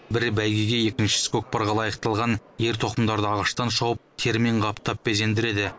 бірі бәйгеге екіншісі көкпарға лайықталған ер тоқымдарды ағаштан шауып терімен қаптап безендіреді